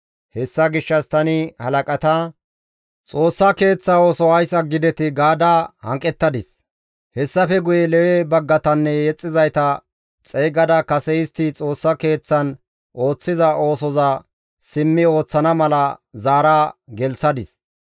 Hessa gishshas tani halaqata, «Xoossa Keeththa ooso ays aggidetii?» gaada hanqettadis; hessafe guye Lewe baggatanne yexxizayta xeygada kase istti Xoossa Keeththan ooththiza oosoza simmi ooththana mala zaara gelththadis.